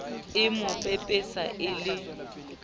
e mo pepesa e le